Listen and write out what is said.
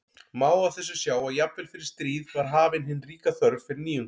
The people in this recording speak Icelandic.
Má á þessu sjá að jafnvel fyrir stríð var hafin hin ríka þörf fyrir nýjungar.